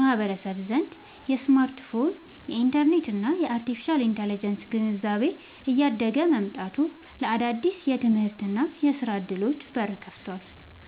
ማህበረሰብ ዘንድ የስማርትፎን፣ የኢንተርኔት እና የአርቴፊሻል ኢንተለጀንስ (AI) ግንዛቤ እያደገ መምጣቱ ለአዳዲስ የትምህርትና የሥራ ዕድሎች በር ከፍቷል።